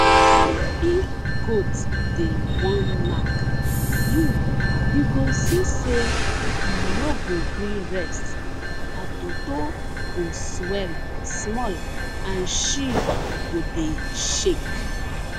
if goat dey wan knack you you go see say e no go gree rest her toto go swell small and she go dey shake